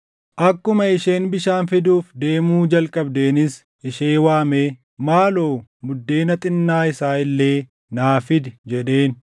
Akkuma isheen bishaan fiduuf deemuu jalqabdeenis ishee waamee, “Maaloo buddeena xinnaa isaa illee naa fidi” jedheen.